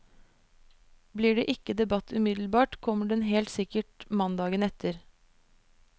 Blir det ikke debatt umiddelbart, kommer den helt sikkert mandagen etter.